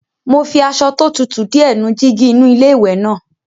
Mo fi aṣọ tó tutù díẹ̀ nu jígí inú iléwẹ̀ náà.